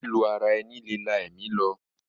Lílù ara ẹni lè la ẹ̀mí lọ.